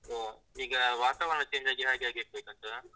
ಹಾ, ಈಗ ಈಗ ವಾತಾವರಣ change ಆಗಿ ಹಾಗೆ ಆಗಿರ್ಬೇಕು ಅಂತವ.